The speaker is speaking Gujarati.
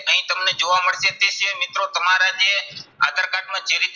અહીં તમને જોવા મળશે. તે સિવાય મિત્રો તમારા જે આધાર કાર્ડમાં જે રીતે